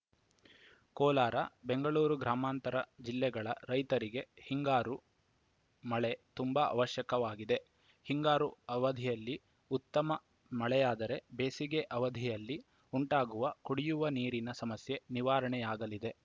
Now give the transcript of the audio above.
ಕೋಲಾರ ಬೆಂಗಳೂರು ಗ್ರಾಮಾಂತರ ಜಿಲ್ಲೆಗಳ ರೈತರಿಗೆ ಹಿಂಗಾರು ಮಳೆ ತುಂಬಾ ಅವಶ್ಯಕವಾಗಿದೆ ಹಿಂಗಾರು ಅವಧಿಯಲ್ಲಿ ಉತ್ತಮ ಮಳೆಯಾದರೆ ಬೇಸಿಗೆ ಅವಧಿಯಲ್ಲಿ ಉಂಟಾಗುವ ಕುಡಿಯುವ ನೀರಿನ ಸಮಸ್ಯೆ ನಿವಾರಣೆಯಾಗಲಿದೆ